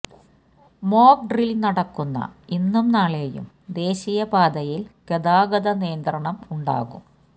mock drill നടക്കുന്ന ഇന്നും നാളെയും ദേശീയ പാതയില് ഗതാഗത നിയമന്ത്രണം ഉണ്ടാകും